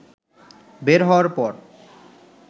বের হওয়ার পর